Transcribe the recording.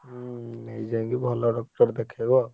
ହୁଁ ଯାଇକି ଭଲ doctor ଦେଖେଇବ।